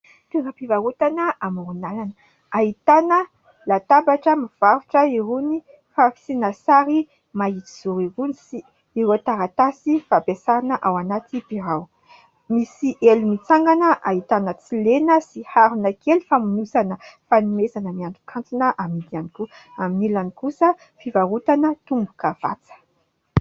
Toeram-pivarotana amoron-dalana ahitana latabatra, mivarotra irony fasiana sary mahitsy zoro irony sy ireo taratasy fampiasana ao anaty birao. Misy elo mitsangana, ahitana tsilena sy harona kely famonosana fanomezana miantokantona amidy ihany koa. Amin'ny ilany kosa fivarotana tombokavatsa.